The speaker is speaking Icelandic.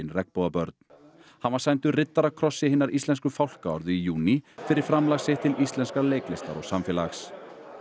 Regnbogabörn hann var sæmdur riddarakrossi hinnar íslensku fálkaorðu í júní fyrir framlag sitt til íslenskrar leiklistar og samfélags